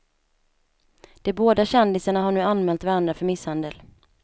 De båda kändisarna har nu anmält varandra för misshandel.